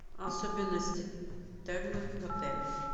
особенности термы в отеле